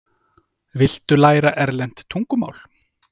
Viltu læra erlent tungumál?